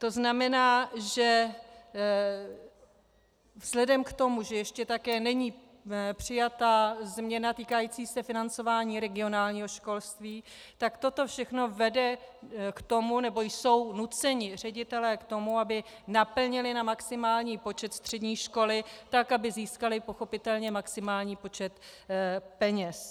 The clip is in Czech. To znamená, že vzhledem k tomu, že ještě také není přijata změna týkající se financování regionálního školství, tak toto všechno vede k tomu, nebo jsou nuceni ředitelé k tomu, aby naplnili na maximální počet střední školy, tak aby získali pochopitelně maximální počet peněz.